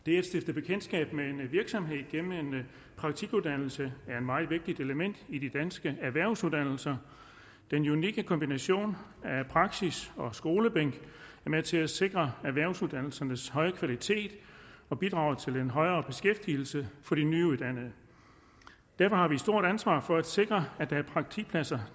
det at stifte bekendtskab med en virksomhed gennem en praktikuddannelse er et meget vigtigt element i de danske erhvervsuddannelser den unikke kombination af praksis og skolebænk er med til at sikre erhvervsuddannelsernes høje kvalitet og bidrager til en højere beskæftigelse for de nyuddannede derfor har vi et stort ansvar for at sikre at der er praktikpladser